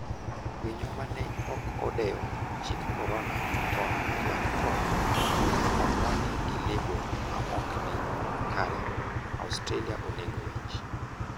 Winyo mane ok odewo chik korona otony e lak tho ka onwang'e gi lebo maokni kare. Australia onego winj